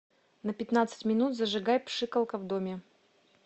на пятнадцать минут зажигай пшикалка в доме